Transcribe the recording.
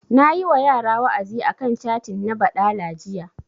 Nayi wa yara wa'azi a kan catin na baɗala jiya